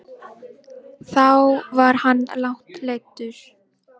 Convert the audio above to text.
Þá var hann langt leiddur.